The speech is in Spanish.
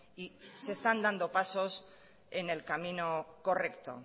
y se están dando pasos en el camino correcto